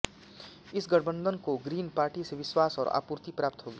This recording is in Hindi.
इस गठबंधन को ग्रीन पार्टी से विश्वास और आपूर्ति प्राप्त होगी